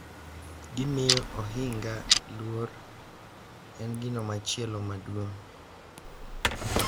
Gimiyo ohinga luor en gino machielo maduong’